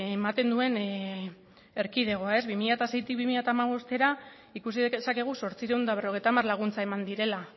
ematen duen erkidegoa bi mila seitik bi mila hamabostera ikusi dezakegu zortziehun eta berrogeita hamar laguntza eman direla